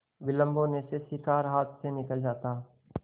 विलम्ब होने से शिकार हाथ से निकल जाता